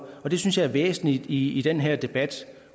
og det synes jeg er væsentligt i den her debat